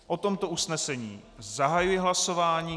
O tomto usnesení zahajuji hlasování.